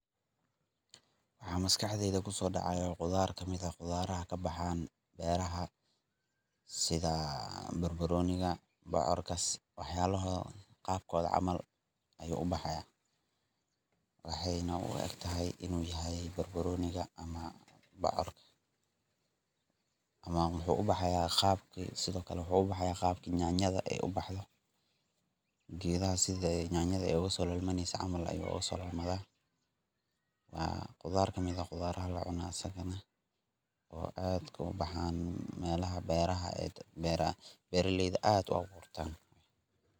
Waxa maskaxdeyda kusoo dhacaya waxa melaha ka baxa sida barbaroniga ,bocorka iyo wax yaala qabkooda camal ayuu u baxaya waxeyna u egtahay inuu yahay barbaroniga ama bocor ama waxuu u baxaya qaab aysan nyanyada ay u baxdo . Geedaha sidi yanayada ogasoo lalmaneyso ayuu ogasoo lalmanaya waa khudaar kamid ah khudaraha laga ganacsado oo aad ooga baxaan meelaha beeraha ee beeralayda aad uga gurtaan .